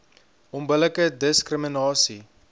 onbillike diskri minasie